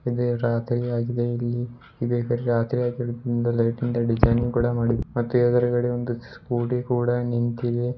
ಅದೇ ರಾತ್ರಿಯಾಗಿದೆ ಇಲ್ಲಿ ಇದೆ ಲೈಟಿಂದ ಡಿಸೈನ್ ಕೂಡ ಮಾಡಿದ್ದ ಮತ್ತೆ ಎದುರುಗಡೆ ಒಂದು ಸ್ಕೂಟಿ ಕೂಡ ನಿಂತಿದೆ.